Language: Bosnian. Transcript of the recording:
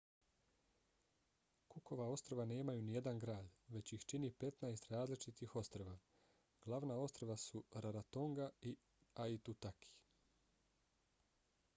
cookova ostrva nemaju nijedan grad već ih čini 15 različitih ostrva. glavna ostrva su rarotonga i aitutaki